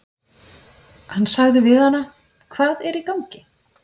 Hann sagði við hana: Hvað er í gangi?